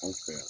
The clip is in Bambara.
Anw fɛ yan